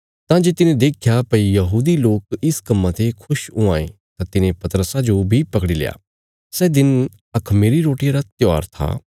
तां जे तिने देख्या भई यहूदी लोक इस कम्मां ते खुश हुआं ये तां तिने पतरसा जो बी पकड़ील्या सै दिन अखमीरी रोटिया रा त्योहार था